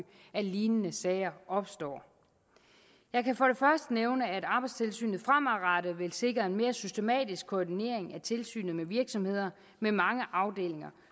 at lignende sager opstår jeg kan for det nævne at arbejdstilsynet fremadrettet vil sikre en mere systematisk koordinering af tilsynet med virksomheder med mange afdelinger